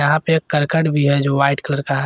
यहां पे एक करकट भी है जो वाइट कलर का है।